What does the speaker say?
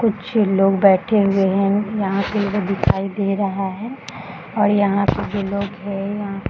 कुछ लोग बैठे हुए हैं यहाँ पे दिखाई दे रहा है और यहाँ पे भी लोग है यहाँ --